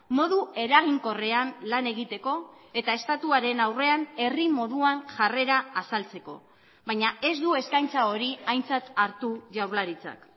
modu eraginkorrean lan egiteko eta estatuaren aurrean herri moduan jarrera azaltzeko baina ez du eskaintza hori aintzat hartu jaurlaritzak